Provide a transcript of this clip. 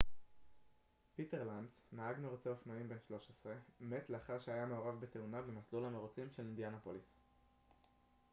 פיטר לנץ נהג מירוצי אופנועים בן 13 מת לאחר שהיה מעורב בתאונה במסלול המירוצים של אינדיאנפוליס